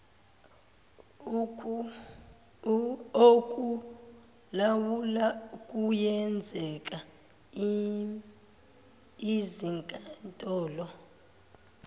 okulawula kuyenzeka izinkantolo